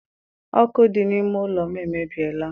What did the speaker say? Ọkụ dị n'ime ụlọ m emebiela.